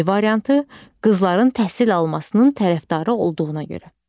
C variantı: Qızların təhsil almasının tərəfdarı olduğuna görə.